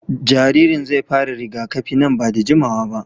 Jaririn zai fara rigakafi nan ba da jimawa ba.